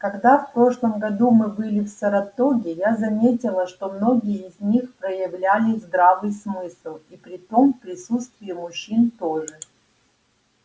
когда в прошлом году мы были в саратоге я заметила что многие из них проявляли здравый смысл и притом в присутствии мужчин тоже